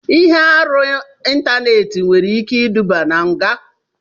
Ihe arụ caiba nwere ike iduba na nga.